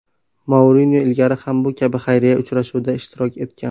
Mourinyo ilgari ham bu kabi xayriya uchrashuvida ishtirok etgan.